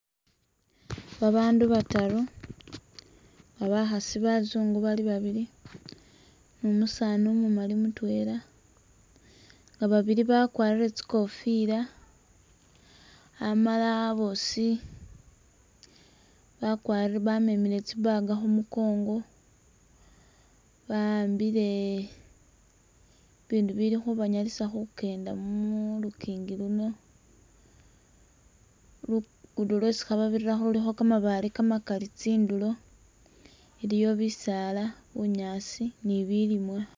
Babandu bataru nga bakhasi bazungu bali babili ni umusaani umumali mutwela nga babili bakwarire tsikofila, amala bosi bakwari bamemile tsibag khu mukongo bahambile ibindu bili khubanyalisa kukenda mu lukingi luno. Lugudo lwesi khababirirakho khulikho kamabaale kamakali tsindulo iliyo bisaala, bunyaasi ni bilimwa.